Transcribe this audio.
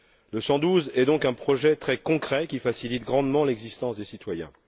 Le 112 est donc un projet très concret, qui facilite grandement l'existence des citoyens.